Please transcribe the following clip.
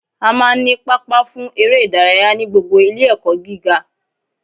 A máa n ní pápá fún eré ìdárayá ní gbogbo Ilé ẹ̀kọ́ gíga